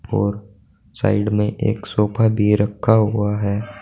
और साइड में एक सोफा भी रखा हुआ है।